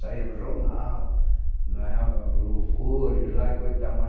Saia no jornal, ganhava louvores lá e coisa e tal mas